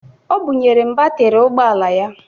O bunyere m batịrị ụgbọala ya